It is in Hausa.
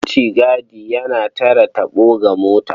Mutigadi yana tare taɓo ga mota.